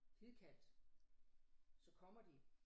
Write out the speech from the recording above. Hidkaldt så kommer de